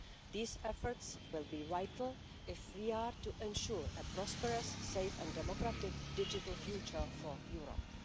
These efforts will be vital if we are to ensure a prosperous, safe and democratic digital future for Europe.